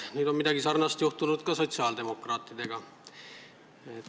Nüüd on midagi samasugust juhtunud ka sotsiaaldemokraatidega.